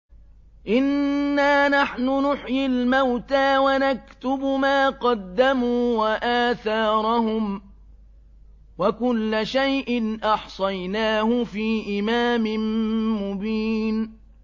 إِنَّا نَحْنُ نُحْيِي الْمَوْتَىٰ وَنَكْتُبُ مَا قَدَّمُوا وَآثَارَهُمْ ۚ وَكُلَّ شَيْءٍ أَحْصَيْنَاهُ فِي إِمَامٍ مُّبِينٍ